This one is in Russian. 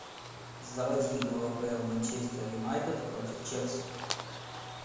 заводи игру апл манчестер юнайтед против челси